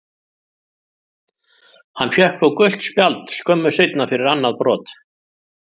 Hann fékk þó gult spjald skömmu seinna fyrir annað brot.